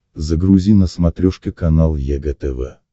загрузи на смотрешке канал егэ тв